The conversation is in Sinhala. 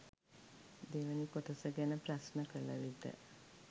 දෙවැනි කොටස ගැන ප්‍රශ්න කල විට